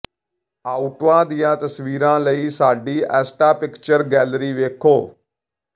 ਆਓਟਾ ਦੀਆਂ ਤਸਵੀਰਾਂ ਲਈ ਸਾਡੀ ਐਸਟਾ ਪਿਕਚਰ ਗੈਲਰੀ ਵੇਖੋ